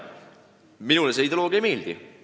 Minule see ideoloogia ei meeldi.